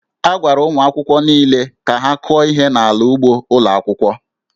A gwara ụmụ akwụkwọ niile ka ha kụọ ihe n'ala ugbo ụlọ akwụkwọ